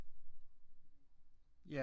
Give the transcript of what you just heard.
Ja